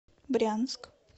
брянск